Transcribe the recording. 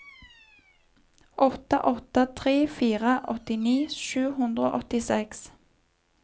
åtte åtte tre fire åttini sju hundre og åttiseks